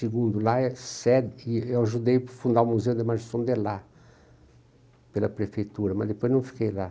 Segundo, lá é sede... E eu ajudei a fundar o Museu da Imagem do Som de lá, pela prefeitura, mas depois não fiquei lá.